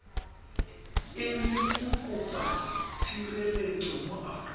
e le mokopatshireletso mo aforika